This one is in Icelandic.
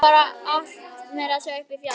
Þeir fara um allt, meira að segja upp í fjall.